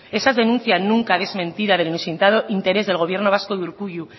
esa denuncia nunca desmentida del inusitado interés del gobierno vasco de urkullu